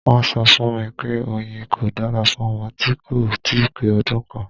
Wọ́n sọ fún mi pé oyin kò dára fún ọmọ tí kò ì tíì pé ọdún kan.